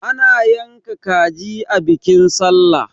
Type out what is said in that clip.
ana yanka kaji a bikin sallah